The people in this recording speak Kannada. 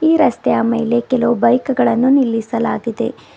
ಈ ರಸ್ತೆಯ ಮೇಲೆ ಕೆಲವು ಬೈಕ್ ಗಳನ್ನು ನಿಲ್ಲಿಸಲಾಗಿದೆ.